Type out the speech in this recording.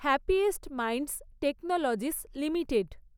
happiest minds technologies limited